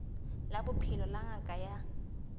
la bophelo la ngaka ya